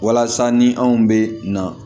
Walasa ni anw bɛ na